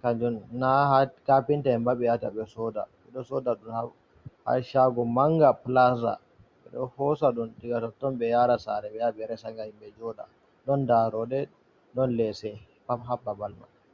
Kanjum na ha kafinta en ba be yahata ɓe soda. Ɓe ɗo soda ɗum ha shaago manga, plaza. Ɓe ɗo hosa ɗum diga totton, ɓe yaara sare, ɓe yaha ɓe resa, ngam himɓe jooɗa. Ɗon darooɗe, ɗon leese, pat ha babal mai.